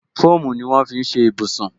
Fóòmù ni wọn fi ń ṣe ibùsùn